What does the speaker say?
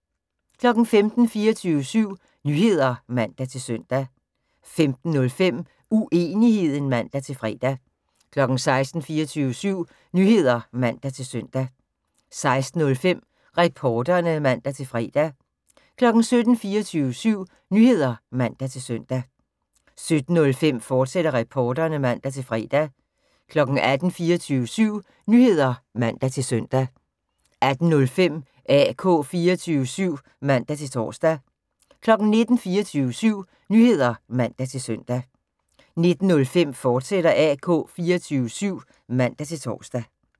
15:00: 24syv Nyheder (man-søn) 15:05: Uenigheden (man-fre) 16:00: 24syv Nyheder (man-søn) 16:05: Reporterne (man-fre) 17:00: 24syv Nyheder (man-søn) 17:05: Reporterne, fortsat (man-fre) 18:00: 24syv Nyheder (man-søn) 18:05: AK 24syv (man-tor) 19:00: 24syv Nyheder (man-søn) 19:05: AK 24syv, fortsat (man-tor)